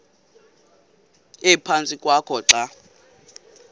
ephantsi kwakho xa